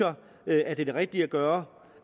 jeg at det er det rigtige at gøre